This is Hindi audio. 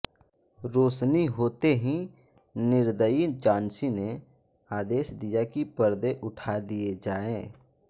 रोशनी होते ही निर्दयी जान्सी ने आदेश दिया कि पर्दे उठा दिये जाये